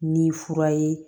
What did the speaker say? Ni fura ye